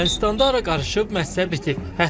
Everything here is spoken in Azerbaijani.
Ermənistanda hər qaraışıb, məsələ bitir.